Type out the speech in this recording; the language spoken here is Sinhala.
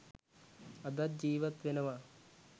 අදත් ජීවත් වෙනවා